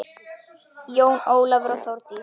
Jón Ólafur og Þórdís.